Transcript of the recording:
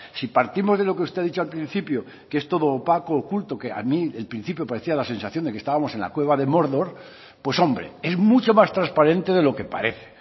si partimos de lo que usted ha dicho al principio que es todo opaco oculto que a mí el principio parecía la sensación de que estábamos en la cueva de mordor pues hombre es mucho más transparente de lo que parece